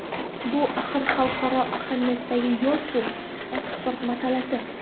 Bu axir xalqaro ahamiyatdagi yo‘l-ku, eksport masalasi.